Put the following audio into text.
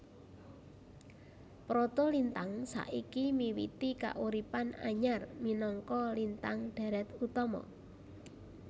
Protolintang saiki miwiti kauripan anyar minangka lintang dhèrèt utama